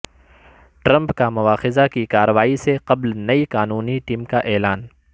Trump کا مواخذہ کی کارروائی سے قبل نئی قانونی ٹیم کا اعلان